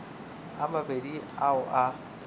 a mabedi a o a